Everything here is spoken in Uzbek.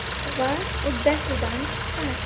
Va uddasidan chiqqan.